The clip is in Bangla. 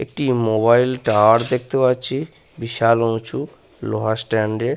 একটি মোবাইল টাওয়ার দেখতে পাচ্ছি। বিশাল উঁচু। লোহার স্ট্যান্ড -এ--